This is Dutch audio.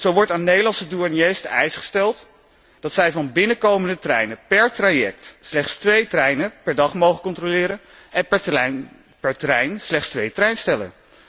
Zo wordt aan Nederlandse douaniers de eis opgelegd dat zij van binnenkomende treinen per traject slechts twee treinen per dag mogen controleren en per trein slechts twee treinstellen.